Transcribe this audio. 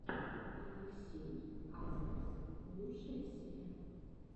алексей асгус лучшая серия